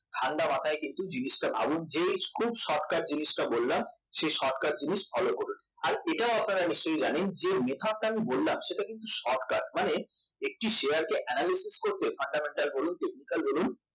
ঠান্ডা মাথায় কিন্তু জিনিসটা ভাবুন যে খুব shortcut জিনিসটা বললাম সেই shortcut জিনিস follow করুন আর এটাও আপনারা জানেন যে method টা আমি বললাম সেটাও কিন্তু shortcut মানে একটি শেয়ারকে analysis করতে fundamental বলুন technical বলুন